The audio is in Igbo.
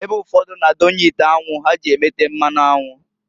Ebe ụfọdụ na-adonye ite anwu ha ji emete mmanụ anwụ.